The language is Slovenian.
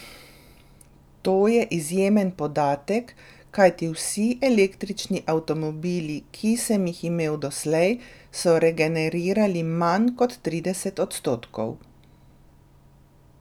To je izjemen podatek, kajti vsi električni avtomobili, ki sem jih imel doslej, so regenerirali manj kot trideset odstotkov.